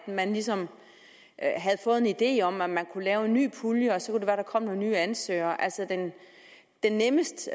at man ligesom havde fået en idé om at man kunne lave en ny pulje og så kunne det være der kom nogle nye ansøgere altså den nemmeste